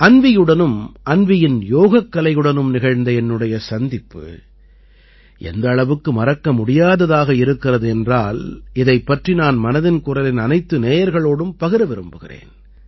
அன்வீயுடனும் அன்வீயின் யோகக்கலையுடனும் நிகழ்ந்த என்னுடைய சந்திப்பு எந்த அளவுக்கு மறக்க முடியததாக இருக்கிறது என்றால் இதைப் பற்றி நான் மனதின் குரலின் அனைத்து நேயர்களோடும் பகிர விரும்புகிறேன்